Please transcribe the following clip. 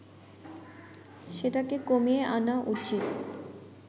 সেটাকে কমিয়ে আনা উচিত